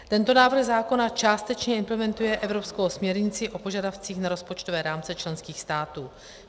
Tento návrh zákona částečně implementuje evropskou směrnici o požadavcích na rozpočtové rámce členských států.